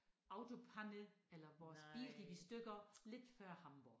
Autopanne eller vores bil gik i stykker lidt før Hamborg